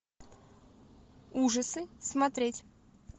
ужасы смотреть